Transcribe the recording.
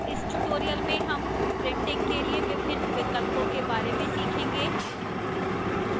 इस tutorial में हम printing के लिए विभिन्न विकल्पों के बारे में सीखेंगे: